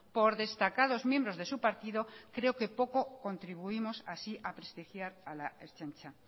por destacados miembros de su partido creo que poco contribuimos así a prestigiar a la ertzaintza